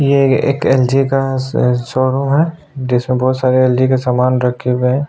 ये एक L G का शोरूम है जिसमें बहुत सारे एल जी का सामान रखे हुए हैं।